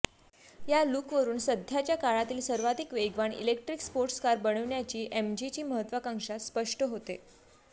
या लूकवरून सध्याच्या काळातील सर्वाधिक वेगवान इलेक्ट्रिक स्पोर्ट्स कार बनविण्याची एमजीची महत्त्वकांक्षा स्पष्ट होते